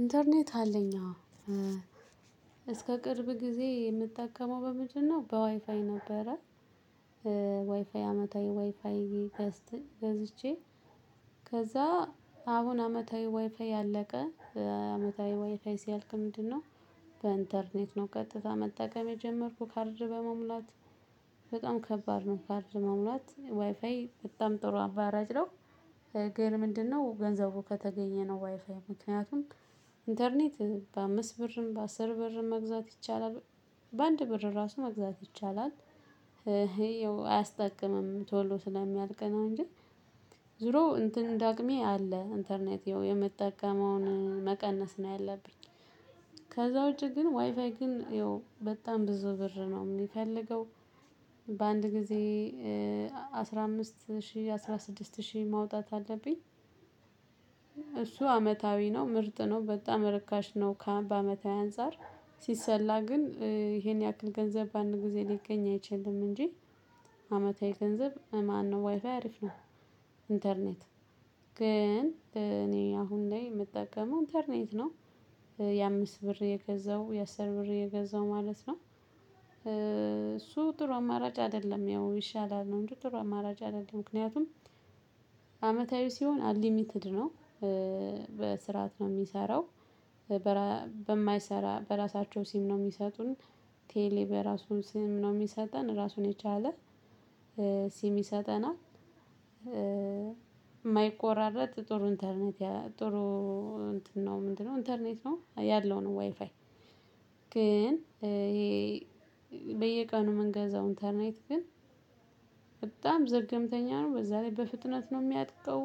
ኢንተርኔት አለኝ አዎ እስከ ቅርብ ጊዜ የምጠቀመው በምንድነው? በዋይፋይ ነበረ። ዋይፋይ አመታዊ ዋይፋይ ገዝቼ ከዛ አሁን አመታዊ ዋይፋይ አለቀ። አመታዊ ዋይፋይ ሲያልቅ ምንድነው? በኢንተርኔት ነው ቀጥታ መጠቀም የጀመርኩ ካርድ በመሙላት በጣም ከባድ ነው ካርድ መሙላት ዋይፋይ በጣም ጥሩ አማራጭ ነው። ግን ምንድነው? ገንዘቡ ከተገኘ ነው ዋይፋይ ምክንያቱም ኢንተርኔት በአምስት ብርም በአስር ብርም መግዛት ይቻላል በአንድ ብር ራሱ መግዛት ይቻላል። የው አያስጠቅምም ቶሎ ስለሚያልቅ ነው እንጂ ዙሮ እንትን እንደ አቅሜ አለ ኢንተርኔት የምትጠቀመውን መቀነስ ነው ያለብኝ። ከዛ ውጪ ግን ዋይፋይ ግን ያው በጣም ብዙ ብር ነው የሚፈልገው። በአንድ ጊዜ አስራ አምስት ሺህ አስራ ስድስት ሺህ ማውጣት አለብኝ። እሱ አመታዊ ነው ምርጥ ነው በጣም ርካሽ ነው ከአመታዊ አንፃር። ሲሰላ ግን ይሄን ያክል ገንዘብ በአንድ ጊዜ ሊገኝ አይችልም እንጂ። አመታዊ ገንዘብ ማነው? ዋይፋይ አሪፍ ነው። ኢንተርኔት ግን እኔ አሁን ላይ የምጠቀመው ኢንተርኔት ነው። የአምስት ብር እየገዛው የአስር ብር እየገዛው ማለት ነው። እሱ ጥሩ አማራጭ አይደለም ያው ይሻላል ነው እንጂ ጥሩ አማራጭ አይደለም ምክንያቱም። አመታዊ ሲሆን አንሊሚትድ ነው። በስርዓት ነው የሚሰራው። በማይሰራ በራሳቸው ሲም ነው የሚሰጡን። ቴሌ በራሱ ሲም ነው የሚሰጠን ራሱን የቻለ ሲም ይሰጠናል። የማይቆራረጥ ጥሩ ኢንተርኔት ጥሩ እንትን ነው ምንድነው? ኢንተርኔት ነው ያለው ነው ዋይፋይ። ግን ይሄ በየቀኑ ምንገዛውን ኢንተርኔት ግን በጣም ዘገምተኛ ነው በዛ ላይ በፍጥነት ነው የሚያልቀው።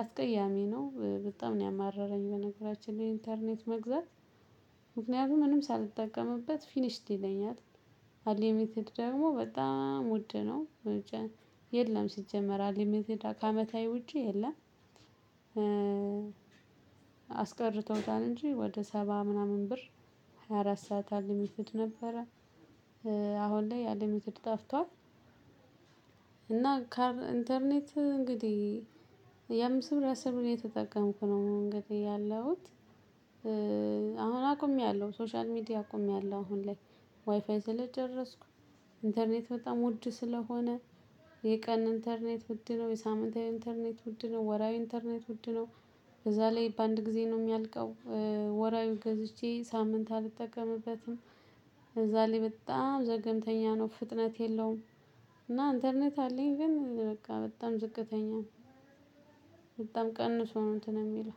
አስቀያሚ ነው በጣም ነው ያማረረኝ። እኔ በነገራችን ላይ ኢንተርኔት መግዛት ምክንያቱም ምንም ሳልጠቀምበት ፊኒሽድ ይለኛል። አንሊሚትድ ደግሞ በጣም ውድ ነው። የለም ሲጀመር አንሊሚትድ ከአመታዊ ውጪ የለም። አስቀርተውታል እንጂ ወደ ሰባ ምናምን ብር ሃያ አራት ሰዓት አንሊሚተድ ነበረ። አሁን ላይ አንሊሚትድ ጠፍቷል። እና ኢንተርኔት እንግዲህ የአምስት ብር የአስር ብር እየተጠቀምኩ ነው እንግዲህ ያለሁት። አሁን አቁሚያለሁ ሶሻል ሚዲያ አቁሚያለሁ አሁን ላይ ዋይፋይ ስለጨረስኩ ኢንተርኔት በጣም ውድ ስለሆነ። የቀን ኢንተርኔት ውድ ነው የሳምንታዊ ኢንተርኔት ውድ ነው ወርሃዊ ኢንተርኔት ውድ ነው። በዛ ላይ በአንድ ጊዜ ነው የሚያልቀው። ወርሃዊ ገዝቼ ሳምንት አልጠቀምበትም። በዛ ላይ በጣም ዘገምተኛ ነው ፍጥነት የለውም። እና ኢንተርኔት አለኝ ግን በቃ በጣም ዝቅተኛ ነው። በጣም ቀንሶ ነው እንትን የሚለው።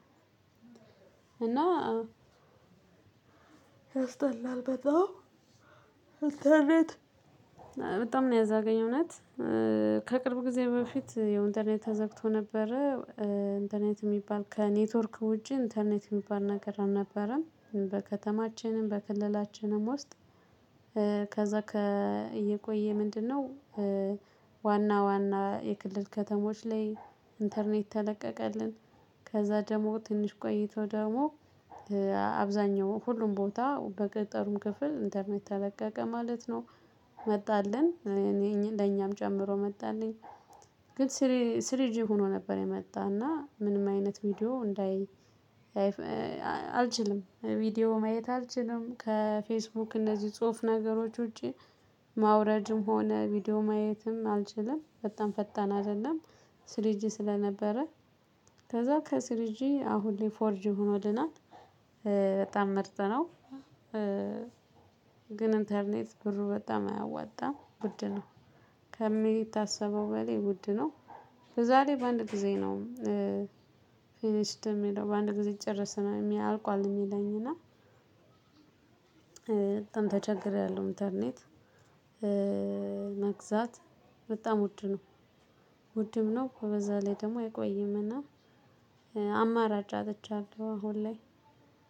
እና ያስጠላል በጣም። በጣም ነው ያዛገኝ እውነት ከቅርብ ጊዜ በፊት ያው ኢንተርኔት ተዘግቶ ነበረ። ኢንተርኔት የሚባል ከኔትወርክ ውጪ ኢንተርኔት የሚባል ነገር አልነበረም በከተማችንም በክልላችንም ውስጥ። ከዛ እየቆየ ምንድነው? ዋና ዋና የክልል ከተሞች ላይ ኢንተርኔት ተለቀቀልን። ከዛ ደግሞ ትንሽ ቆይቶ ደግሞ አብዛኛው ሁሉም ቦታ በገጠሩም ክፍል ኢንተርኔት ተለቀቀ ማለት ነው። መጣልን ለኛም ጨምሮ መጣልን። ግን ስሪጂ ሆኖ ነበር የመጣና ምንም አይነት ቪዲዮ እንዳይ። አልችልም ቪዲዮ ማየት አልችልም ከፌስቡክ እነዚህ ጽሁፍ ነገሮች ውጪ። ማውረድም ሆነ ቪዲዮ ማየትም አልችልም በጣም ፈጣን አይደለም። ስሪጂ ስለነበረ ከዛ ከስሪጂ አሁን ላይ ፎርጂ ሆኖልናል። በጣም ምርጥ ነው። ግን ኢንተርኔት ብሩ በጣም አያዋጣም ውድ ነው። ከሚታሰበው በላይ ውድ ነው። በዛ ላይ በአንድ ጊዜ ነው። ፊኒሽድ የሚለው በአንድ ጊዜ ጭርስ ነው አልቋል የሚለኝ እና። ተቸግሬያለሁ ኢንተርኔት። መግዛት በጣም ውድ ነው። ውድም ነው በዛ ላይ ደግሞ አይቆይምና። አማራጭ አጥቻለሁ አሁን ላይ።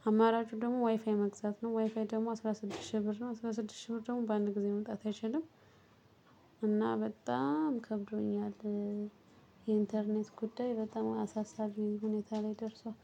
አማራጩ ደግሞ ዋይፋይ መግዛት ነው ዋይፋይ ደግሞ አስራ ስድስት ሺህ ብር ነው አስራ ስድስት ሺህ ብር ደግሞ በአንድ ጊዜ መምጣት አይችልም። እና በጣም ከብዶኛል። የኢንተርኔት ጉዳይ በጣም አሳሳቢ ሁኔታ ላይ ደርሷል።